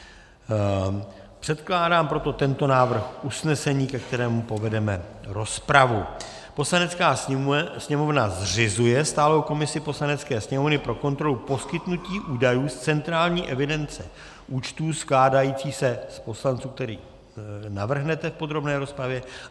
Předkládám proto tento návrh usnesení, ke kterému povedeme rozpravu: Poslanecká sněmovna zřizuje stálou komisi Poslanecké sněmovny pro kontrolu poskytnutí údajů z centrální evidence účtů skládající se z poslanců, které navrhnete v podrobné rozpravě.